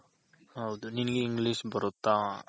ಹೌದು ನಿನ್ಗೆ English ಬರುತ್ತಾ.